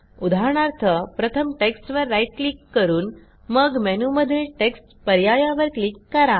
उदाहरणार्थ प्रथम टेक्स्टवर राईट क्लिक करून मग मेनूमधील टेक्स्ट पर्यायावर क्लिक करा